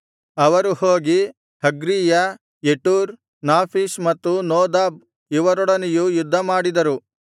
ಅವರು ಹೋಗಿ ಹಗ್ರೀಯ ಯೆಟೂರ್ ನಾಫೀಷ್ ಮತ್ತು ನೋದಾಬ್ ಇವರೊಡನೆಯೂ ಯುದ್ಧಮಾಡಿದರು